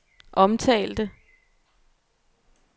omtalte